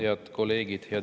Head kolleegid!